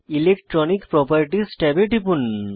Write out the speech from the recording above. electronic properties ট্যাবে টিপুন